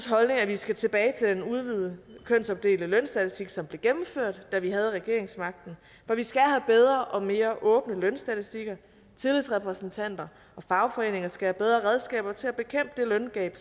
holdning at vi skal tilbage til den udvidede kønsopdelte lønstatistik som blev gennemført da vi havde regeringsmagten for vi skal have bedre og mere åbne lønstatistikker tillidsrepræsentanter og fagforeninger skal have bedre redskaber til at bekæmpe det løngab